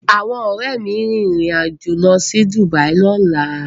Awọn Òré mí rin ìrìn Ajọ ló sì Dubai lọla